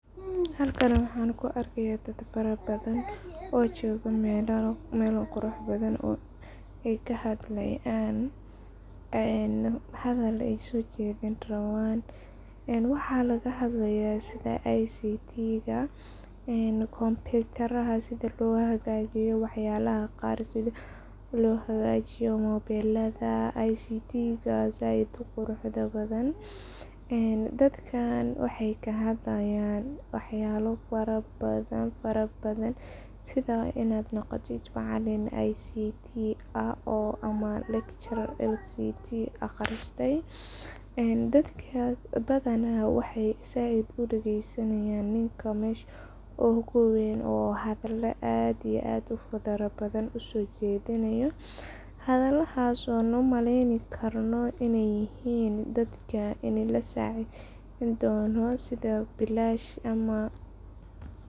Halkani waxan ku arkaya dad farabadan oo joga melo qurux badan ,ay kahadlayan hadal ay sojedhin raban .Waxa laga hadlaya sidha ictiga ,computarada sidha loo hagajiyo mobelada ictiga zaid u qurux da badan. Dadkan waxey kahadlaayan wax yabo fara badan fara badan ,sidha inaad noqotid macalin ictii ah ama lecturer ictiga aqristey ,dadkan inta badan waxey zaid u dhageysanayan ninka mesha u weyn oo zaid hadle ,aad iyo aad u fara badan uso jedinayo hadaladas oo loo maleni karo iney yihin ini dadka lasideyni dono sidha bilash.